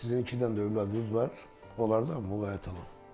Sizin iki dənə övladınız var, onlardan muğayət olun.